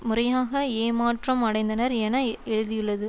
முறையாக ஏமாற்றம் அடைந்தனர் என எழுதியள்ளது